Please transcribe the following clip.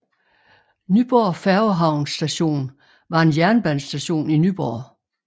Nyborg Færgehavn Station var en jernbanestation i Nyborg